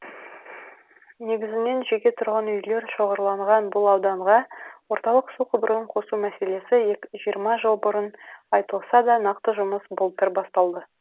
негізінен жеке тұрғын үйлер шоғырланған бұл ауданға орталық су құбырын қосу мәселесі жиырма жыл бұрын айтылса да нақты жұмыс былтыр басталды